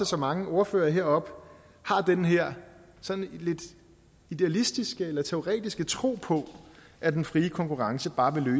så mange ordførere har den her sådan lidt idealistiske eller teoretiske tro på at den frie konkurrence bare vil